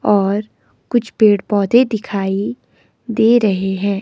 और कुछ पेड़ पौधे दिखाई दे रहे हैं।